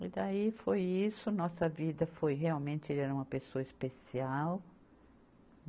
E daí foi isso, nossa vida foi realmente, ele era uma pessoa especial.